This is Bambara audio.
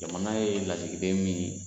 Jamana ye lasigiden min